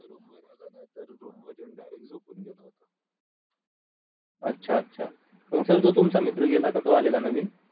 अच्छा अच्छा sir जो तो तुमचा मित्र गेला का तो आलेला नवीन?